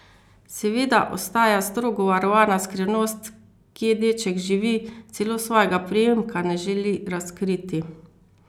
Seveda ostaja strogo varovana skrivnost, kje deček živi, celo svojega priimka ne želi razkriti.